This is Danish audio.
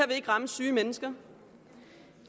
vil ramme syge mennesker